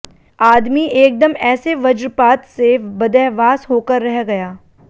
आदमी एकदम ऐसे वज्रपात से बदहवास होकर रह गया